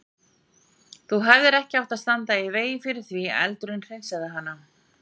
Þú hefðir ekki átt að standa í vegi fyrir því að eldurinn hreinsaði hana.